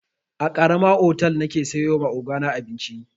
A karama otal nake siyowa ogana abinci.